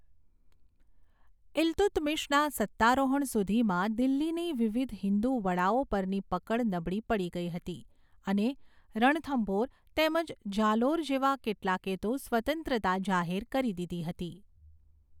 ઈલ્તુત્મિશના સત્તારોહણ સુધીમાં, દિલ્હીની વિવિધ હિન્દુ વડાઓ પરની પકડ નબળી પડી ગઈ હતી અને રણથંભોર તેમજ જાલોર જેવા કેટલાકે તો સ્વતંત્રતા જાહેર કરી દીધી હતી.